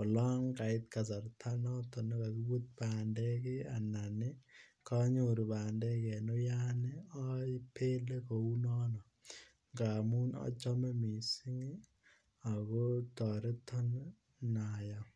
olonkait kasarta naton kakipit pandek anan kanyoru pandek en uyan ko apele kounone ngamun achome mising ako toreton ngayam.